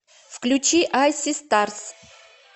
включи ай си старс